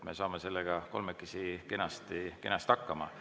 Me saame sellega kolmekesi kenasti hakkama.